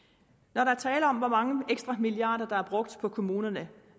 når der er tale om hvor mange ekstra milliarder der er brugt på kommunerne